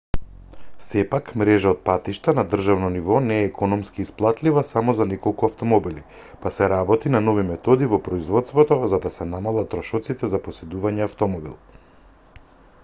сепак мрежа од патишта на државно ниво не е економски исплатлива само за неколку автомобили па се работи на нови методи во производството за да се намалат трошоците за поседување автомобил